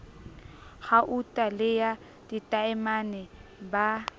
gauta le ya ditaemane ba